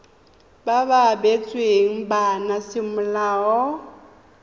ba ba abetsweng bana semolao